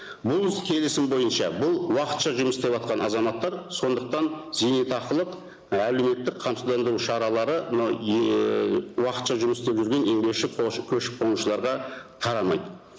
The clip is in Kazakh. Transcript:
бұл іс келісім бойынша бұл уақытша жұмыс істеватқан азаматтар сондықтан зейнетақылық әлеуметтік қамсыздандыру шаралары мынау уақытша жұмыс істеп жүрген еңбекші көшіп қонушыларға тарамайды